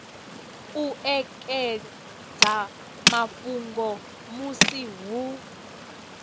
u ekedza mafhungo musi hu